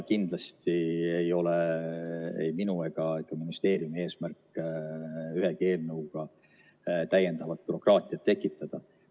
Kindlasti ei ole ei minu ega ministeeriumi eesmärk ühegi eelnõuga täiendavat bürokraatiat tekitada.